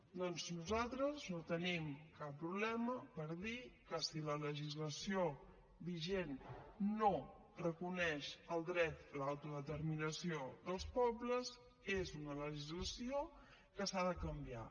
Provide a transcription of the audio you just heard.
doncs nosaltres no tenim cap problema per dir que si la legislació vigent no reconeix el dret a l’autodeterminació dels pobles és una legislació que s’ha de canviar